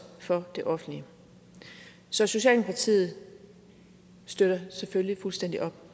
for det offentlige så socialdemokratiet støtter selvfølgelig fuldstændig op